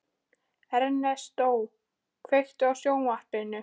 Ernestó, kveiktu á sjónvarpinu.